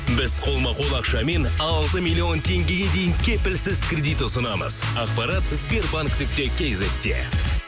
біз қолма қол ақшамен алты миллион теңгеге дейін кепілсіз кредит ұсынамыз ақпарат сбербанк нүкте кизетте